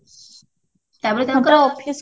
ତାପରେ ତାଙ୍କର office